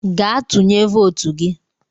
Gaa tụnye votu gị!